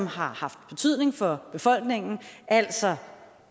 har haft betydning for befolkningen altså